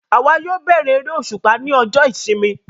Àwa yóò bẹ̀rẹ eré òṣùpá ní ọjọ ìsinmi